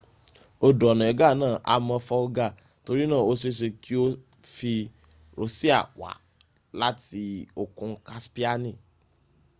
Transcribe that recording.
odo onega naa ha mo folga tori na o seese ki o fi rosia wa lati okun kaspiani